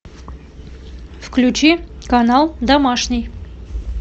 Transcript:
включи канал домашний